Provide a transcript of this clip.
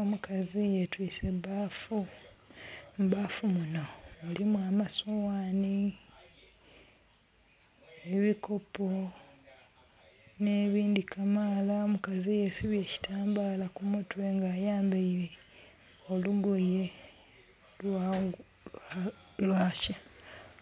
Omukazi ye twise ebbafu, mu bbafu muno mulimu amasoghani, ebikopo ne bindhi kamaala. Omukazi yesibye ekitambala ku mutwe nga ayambeire olugoye